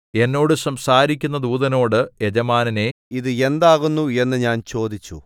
എന്നോട് സംസാരിക്കുന്ന ദൂതനോട് യജമാനനേ ഇത് എന്താകുന്നു എന്നു ഞാൻ ചോദിച്ചു